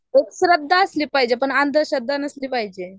एक श्रद्धा असली पाहिजे अंधश्रद्धा नसली पाहिजे